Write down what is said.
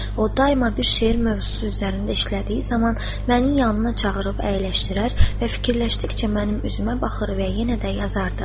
O daima bir şeir mövzusu üzərində işlədiyi zaman məni yanına çağırıb əyləşdirər və fikirləşdikcə mənim üzümə baxır və yenə də yazardı.